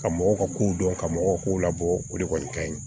Ka mɔgɔw ka kow dɔn ka mɔgɔw kow labɔ o de kɔni kaɲi